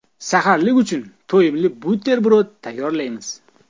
Saharlik uchun to‘yimli buterbrod tayyorlaymiz.